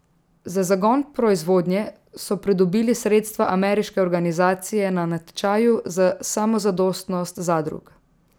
Za zagon proizvodnje so pridobili sredstva ameriške organizacije na natečaju za samozadostnost zadrug.